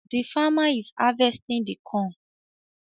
The farmer is harvesting the corn.